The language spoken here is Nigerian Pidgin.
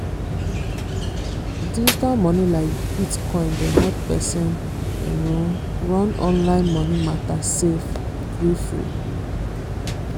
digital money like bitcoin dey help person run online money matter safe gree-free.